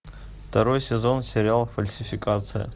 второй сезон сериал фальсификация